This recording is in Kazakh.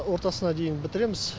ортасына дейін бітіреміз